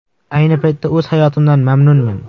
Ayni paytda o‘z hayotimdan mamnunman”.